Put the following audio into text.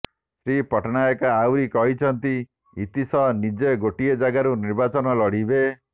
ଶ୍ରୀ ପଟ୍ଟନାୟକ ଆହୁରି କହିଛନ୍ତି ଇତୀଶ ନିଜେ ଗୋଟିଏ ଜାଗାରୁ ନିର୍ବାଚନ ଲଢ଼ିଥିଲେ